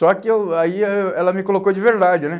Só que eu, aí eu, ela me colocou de verdade, né?